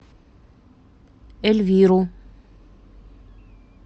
эльвиру